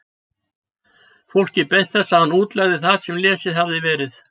Fólkið beið þess að hann útlegði það sem lesið hafði verið.